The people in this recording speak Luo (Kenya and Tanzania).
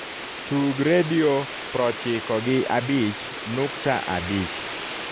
tug redio proochiko gi abich nukta abich